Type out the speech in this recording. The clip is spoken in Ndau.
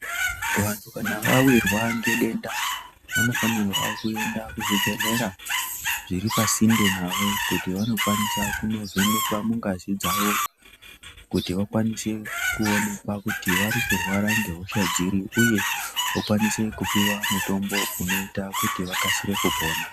Vantu kana vahwirwa ngedenda vanofanirwa kuenda kuzvibhedhlera zviri pasinde navo kuti vanokwanisa kundovhenekwa mungazi dzawo kuti vakwanise kuonekwa kuti vari kurwara nehosha dziri uye vokwanisa kupuwa mutombo unoita kuti vokasika kupona.